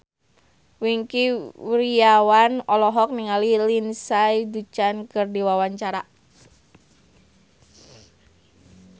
Wingky Wiryawan olohok ningali Lindsay Ducan keur diwawancara